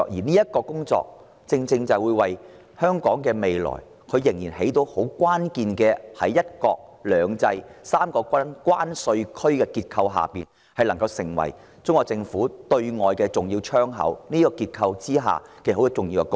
落實普選對我們的未來至為關鍵，讓香港在"一個國家、兩種制度、三個關稅區"的結構下得以擔當中國對外的重要"窗口"，作出重要貢獻。